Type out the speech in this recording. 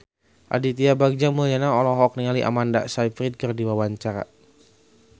Aditya Bagja Mulyana olohok ningali Amanda Sayfried keur diwawancara